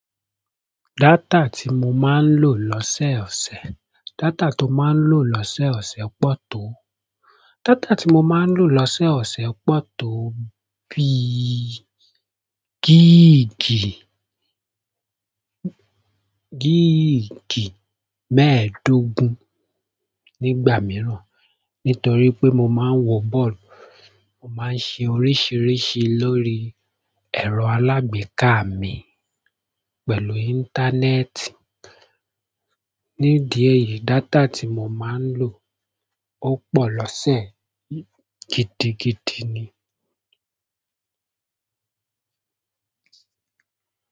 Data tí mo máa ń lò lọ́sẹ̀ ọ̀sẹ̀, data to máa ń lò lọ́sẹ̀ ọ̀sẹ̀ pọ̀ tó, data tí mo máa ń lò lọ́sẹ̀ ọ̀sẹ̀ pọ̀ tó bí, gíìgì, gíìgì mẹ́ẹ̀ẹ́dógún nígbà mìíràn, nítorí pé mo máa ń wọ bọ́ọ̀lù, mo máa ń ṣe oríṣiríṣi lórí ẹ̀rọ alágbèéká mi pẹ̀lú íńtánẹ́ẹ̀tì. Nídí èyí, data tí mo máa ń lò pọ̀ lọ́sẹ̀ gidi gidi ni.